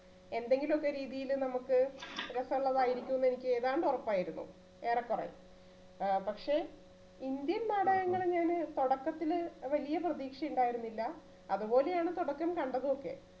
എന്തെങ്കിലുമൊക്കെ രീതിയില് നമുക്ക് രസ ഉള്ളതായിരിക്കും എന്ന് എനിക്ക് ഏതാണ്ട് ഉറപ്പായിരുന്നു. ഏറെക്കുറെ ആ പക്ഷേ indian നാടകങ്ങളില്~ല് തുടക്കത്തില് വലിയ പ്രതീക്ഷ ഉണ്ടായിരുന്നില്ല അതുപോലെയാണ് തുടക്കം കണ്ടതും ഒക്കെ.